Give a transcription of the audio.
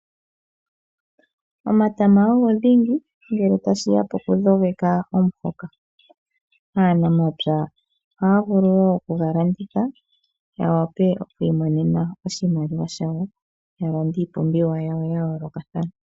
Omatama ogo dhingi ngele tashi ya pokudhogeka omuhoka. Aanamapya ohaya vulu wo oku ga landitha ya wape okuimonena oshimaliwa shawo, ya lande iipumbiwa yawo ya yoolokathana.